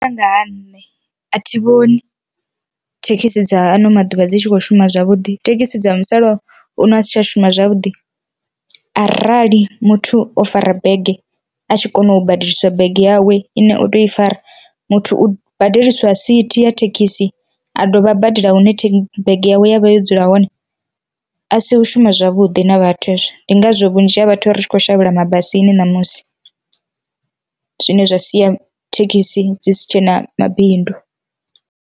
Nga ha nṋe a thi vhoni thekhisi dza ano maḓuvha dzi tshi kho shuma zwavhuḓi, thekhisi dza musala uno a si tsha shuma zwavhuḓi arali muthu o fara bege a tshi kona u badeliswa bege yawe ine oto i fara, muthu u badeliswa sithi ya thekhisi a dovha a badela hune bege yawe ya vha yo dzula hone, a si u shuma zwavhuḓi na vhathu hezwo ndi ngazwo vhunzhi ha vhathu ri tshi kho shavhela mabasini ṋamusi zwine zwa sia thekhisi dzi si tshena mabindu.